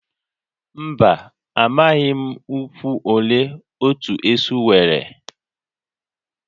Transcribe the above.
Mba, amaghị m ụkwụ ole otu esu nwere